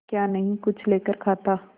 क्या नहीं कुछ लेकर खाता